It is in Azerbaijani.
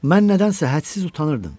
Mən nədənsə hədsiz utanırdım.